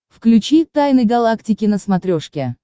включи тайны галактики на смотрешке